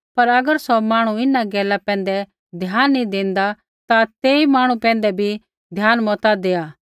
पर अगर सौ मांहणु इन्हां गैला पैंधै ध्यान नैंई देंदा ता तेई मांहणु पैंधै भी ध्यान मता देआ